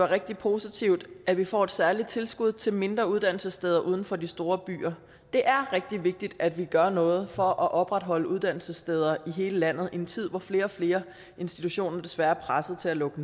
rigtig positivt at vi får et særligt tilskud til mindre uddannelsessteder uden for de store byer det er rigtig vigtigt at vi gør noget for at opretholde uddannelsessteder i hele landet i en tid hvor flere og flere institutioner desværre er presset til at lukke